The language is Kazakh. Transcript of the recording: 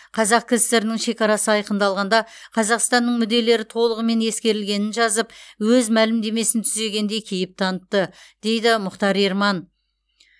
қазақ кср нің шекарасы айқындалғанда қазақстанның мүдделері толығымен ескерілгенін жазып өз мәлімдемесін түзегендей кейіп танытты дейді мұхтар ерман